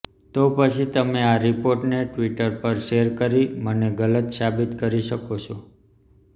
તો પછી તમે આ રિપોર્ટને ટ્વિટર પર શેર કરીને મને ગલત સાબિત કરી શકો છો